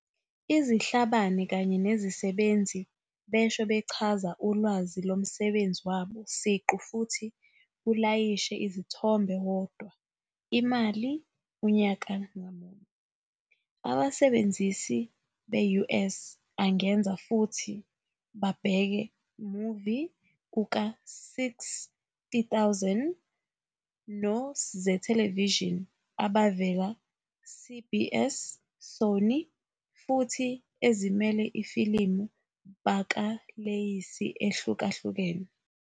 Izihlabane kanye nezisebenzi besho bechaza ulwazi lomsebenzi wabo siqu futhi ulayishe izithombe yodwa imali unyaka ngamunye. Abasebenzisi be US angenza futhi babheke movie kuka 6.000 no zethelevishini abavela CBS, Sony, futhi ezimele ifilimu bakaleyisi ehlukahlukene.